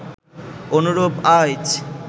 অনুরূপ আইচ